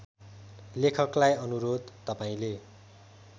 लेखकलाई अनुरोध तपाईँले